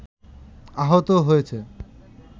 আহত হয়েছে